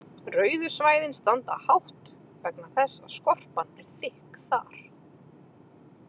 Rauðu svæðin standa hátt vegna þess að skorpan er þykk þar.